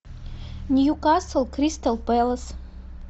ньюкасл кристал пэлас